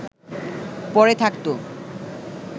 পড়ে থাকত